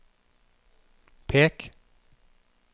pek